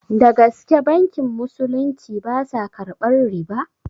Dagaske bankin musulunci basa karɓar riba?